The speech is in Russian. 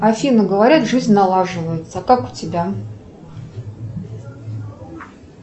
афина говорят жизнь налаживается а как у тебя